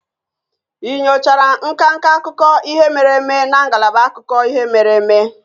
Ị nyochara nka nka akụkọ ihe mere eme na ngalaba akụkọ ihe mere eme?